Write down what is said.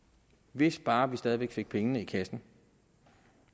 hvis bare vi stadig væk fik pengene i kassen